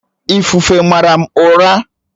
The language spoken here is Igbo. Ifufe mara m ụla